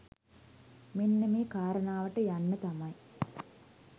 මෙන්න මේ කාරණාවට යන්න තමයි